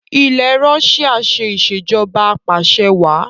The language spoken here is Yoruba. ilé Russia ṣe Ìṣèjọba Apàṣẹwàá